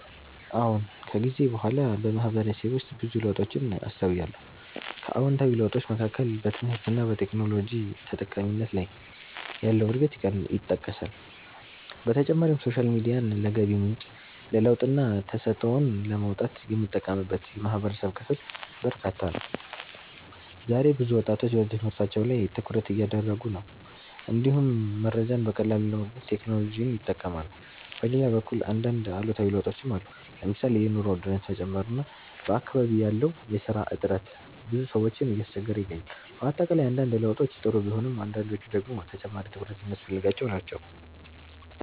አዎን። ከጊዜ በኋላ በማህበረሰቤ ውስጥ ብዙ ለውጦችን አስተውያለሁ። ከአዎንታዊ ለውጦች መካከል በትምህርት እና በቴክኖሎጂ ተጠቃሚነት ላይ ያለው እድገት ይጠቀሳል። በተጨማሪም ሶሻል ሚዲያን ለገቢ ምንጭ፣ ለለውጥና ተሰጥኦን ለማውጣት የሚጠቀምበት የማህበረሰብ ክፍል በርካታ ነው። ዛሬ ብዙ ወጣቶች በትምህርታቸው ላይ ትኩረት እያደረጉ ነው፣ እንዲሁም መረጃን በቀላሉ ለማግኘት ቴክኖሎጂን ይጠቀማሉ። በሌላ በኩል አንዳንድ አሉታዊ ለውጦችም አሉ። ለምሳሌ የኑሮ ውድነት መጨመር እና በአካባቢ ያለው የስራ እጥረት ብዙ ሰዎችን እያስቸገረ ይገኛል። በአጠቃላይ አንዳንድ ለውጦች ጥሩ ቢሆኑም አንዳንዶቹ ደግሞ ተጨማሪ ትኩረት የሚያስፈልጋቸው ናቸው።